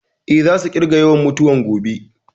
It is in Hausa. Eh, za su ƙirga yawan mutuwan gobe